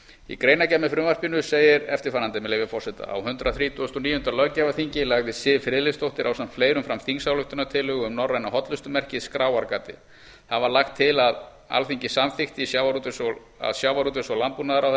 í greinargerð með frumvarpinu segir eftirfarandi með leyfi forseta á hundrað þrítugasta og níunda löggjafarþingi lagði siv friðleifsdóttir ásamt fleirum fram þingsályktunartillögu um norræna hollustumerkið skráargatið þar var lagt til að alþingi samþykkti að sjávarútvegs og landbúnaðarráðherra